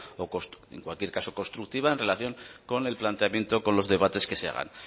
o en cualquier caso constructiva en relación con el planteamiento con los debates que se hagan